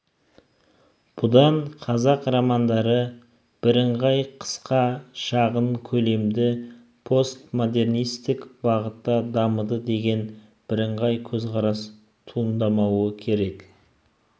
бұдан қазақ романдары біріңғай қысқа шағын көлемді постмодернисттік бағытта дамыды деген біріңғай көзқарас туындамауы керек